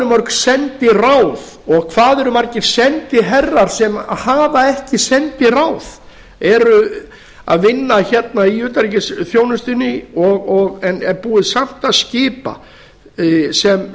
mörg sendiráð og hvað eru margir sendiherrar sem hafa ekki sendiráð eru að vinna hérna í utanríkisþjónustunni en er búið samt að skipa sem